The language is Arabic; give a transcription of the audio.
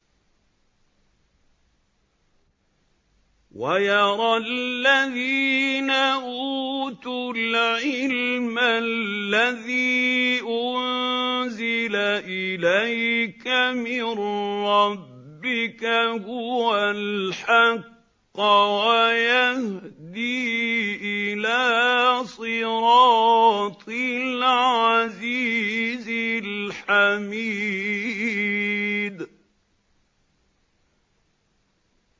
وَيَرَى الَّذِينَ أُوتُوا الْعِلْمَ الَّذِي أُنزِلَ إِلَيْكَ مِن رَّبِّكَ هُوَ الْحَقَّ وَيَهْدِي إِلَىٰ صِرَاطِ الْعَزِيزِ الْحَمِيدِ